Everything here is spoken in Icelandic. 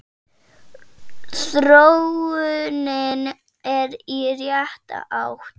Þróunin er í rétta átt.